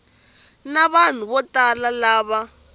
na vanhu vo tala lava